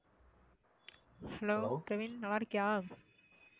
hello Kevin நல்லாருக்கியா?